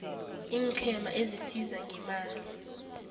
iinqhema ezisiza ngeemali